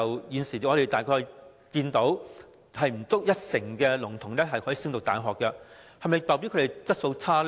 現時香港只有不足一成的聾童可以升讀大學，這是否代表他們質素差？